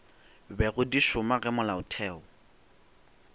bego di šoma ge molaotheo